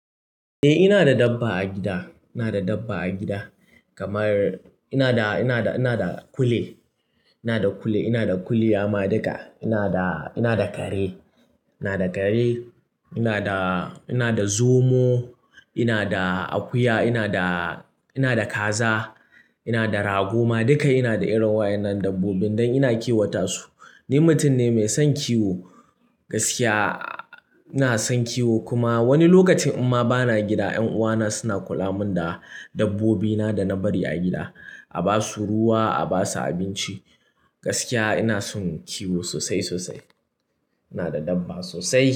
Eh ina da dabba a gida, ina da dabba a gida, kamar ina da, ina da, ina da kule, ina da kule, ina da kule ya ma duka ina da, ina da kare, ina da kare, ina da, ina da zomo, ina da akuya, ina da, ina da kaza, ina da rago ma duka ina da irin wa'annan dabbobin dan ina kiwata su. Ni mutum ne mai son kiwo gaskiya ina son kiwo kuma wani lokacin in ma bana gida 'yan uwana suna kulamin da dabbobina da na bari a gida, a basu ruwa a basu abinci. Gaskiya ina son kiwo sosai sosai. Ina da dabba sosai.